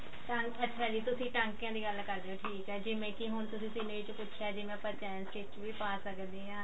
ਤਾਂ ਅੱਛਿਆ ਜੀ ਤੁਸੀਂ ਟਾਂਕਿਆਂ ਦੀ ਗੱਲ ਕਰ ਹੇ ਹੋ ਠੀਕ ਹੈ ਜਿਵੇਂ ਕੀ ਹੁਣ ਤੁਸੀਂ scenery ਚ ਪੁੱਛਿਆ ਜਿਵੇਂ ਆਪਾਂ ਚੈਨ stich ਵੀ ਪਾ ਸਕਦੇ ਹਾਂ